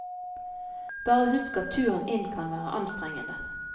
Bare husk at turen inn kan være anstrengende.